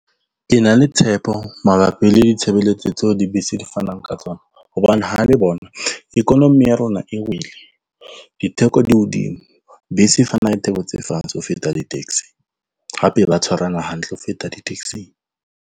Ke na le tshepo mabapi le ditshebeletso tseo dibese di fanang ka tsona hobane ha le bona economy ya rona e wele, ditheko di hodimo, bese e fana ka ditheko tse fatshe ho feta di-taxi, hape ba tshwarana hantle ho feta di-taxi-ng.